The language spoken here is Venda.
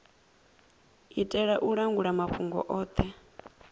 itela u langula mafhungo othe